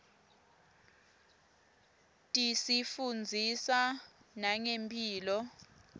tisifundzisa nangemphilo